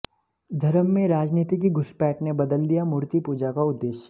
धर्म में राजनीति की घुसपैठ ने बदल दिया मूर्ति पूजा का उद्देश्य